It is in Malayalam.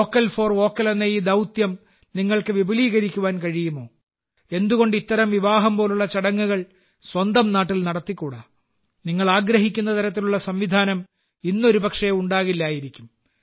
വോക്കൽ ഫോർ ലോക്കൽ എന്ന ഈ ദൌത്യം നിങ്ങൾക്ക് വിപുലീകരിക്കുവാൻ കഴിയുമോ എന്തുകൊണ്ട് ഇത്തരം വിവാഹം പോലുള്ള ചടങ്ങുകൾ സ്വന്തം നാട്ടിൽ നടത്തിക്കൂടാ നിങ്ങൾ ആഗ്രഹിക്കുന്ന തരത്തിലുള്ള സംവിധാനം ഇന്ന് ഒരുപക്ഷേ ഉണ്ടാകില്ലായിരിക്കാം